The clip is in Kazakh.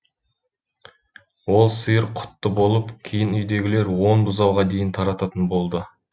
ол сиыр құтты болып кейін үйдегілер он бұзауға дейін тартатын болды